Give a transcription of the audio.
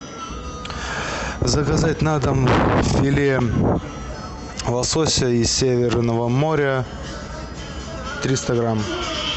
заказать на дом филе лосося из северного моря триста грамм